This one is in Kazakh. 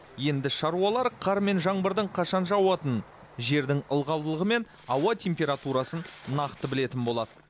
енді шаруалар қар мен жаңбырдың қашан жауатынын жердің ылғалдылығы мен ауа температурасын нақты білетін болады